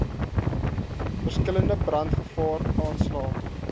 verskillende brandgevaar aanslae